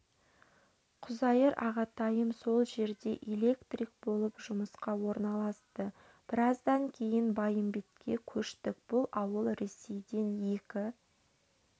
құзайыр ағатайым сол жерде электрик болып жұмысқа орналасты біраздан кейін байымбетке көштік бұл ауыл ресейден екі